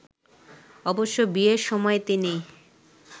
অবশ্য বিয়ের সময় তিনি